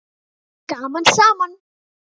Gaman saman.